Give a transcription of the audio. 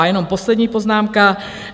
A jenom poslední poznámka.